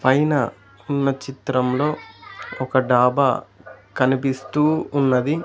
పైన ఉన్న చిత్రంలో ఒక డాబా కనిపిస్తూ ఉన్నది.